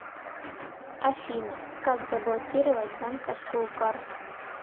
афина как заблокировать банковскую карту